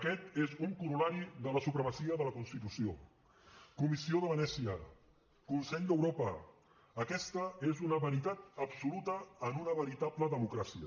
aquest és un corol·lari de la supremacia de la constitució comissió de venècia consell d’europa aquesta és una veritat absoluta en una veritable democràcia